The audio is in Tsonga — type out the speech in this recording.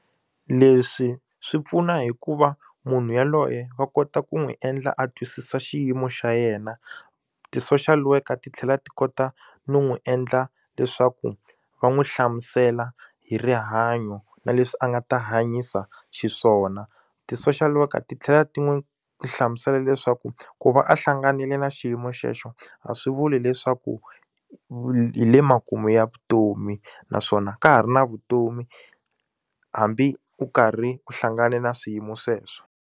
Leswi swi pfuna hikuva munhu yaloye va kota ku n'wi endla a twisisa xiyimo xa yena ti-social worker ti tlhela ti kota no n'wi endla leswaku va n'wi hlamusela hi rihanyo na leswi a nga ta hanyisa xiswona ti-social worker ti tlhela ti n'wi swi hlamusela leswaku ku va a hlanganile na xiyimo xexo a swi vuli leswaku hi le makumu ya vutomi naswona ka ha ri na vutomi hambi u karhi u hlangane na swiyimo sweswo.